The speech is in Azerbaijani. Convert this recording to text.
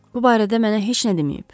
Bu barədə mənə heç nə deməyib.